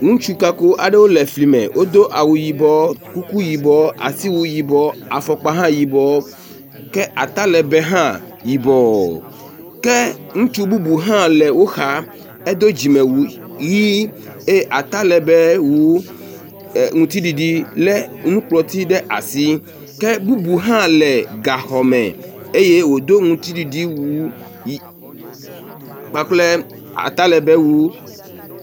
Ŋutsu kako aɖewo le fli me. Wodo awu yibɔ, kuku yibɔ, asiwu yibɔ, afɔkpa hã yibɔ, ke atalegbe hã yibɔ. Ke ŋutsu bubu hã le woxa edo dzimewu ʋi eye talegbewu e ŋtsiɖiɖi le nukplɔti ɖe asi ke bubu hã le gaxɔme eye wodo ŋtsiɖiɖi wu ʋi kpakpla atalegbewu.